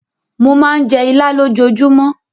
Mo máa ń jẹ Ìlá lójoojúmọ́.